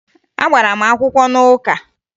Agbara m akwụkwọ n'ụka